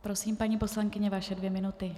Prosím, paní poslankyně, vaše dvě minuty.